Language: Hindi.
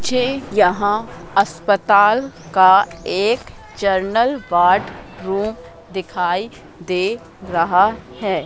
मुझे यहां अस्पताल का एक जनरल वार्ड रूम दिखाई दे रहा है।